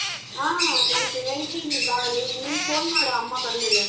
ಹಾ ಹಾ ನಾನ್ ಕೇಳ್ತೀನಿ ಬಾ ನಿನ್ ನಿನ್ phone ಮಾಡು ಅಮ್ಮ ಬಂದ್ಮೇಲೆ.